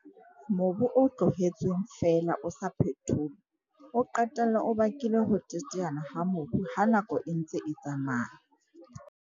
Mobu o tlohetsweng feela o sa phetholwa, o qetella o bakile ho teteana ha mobu ha nako e ntse e tsamaya.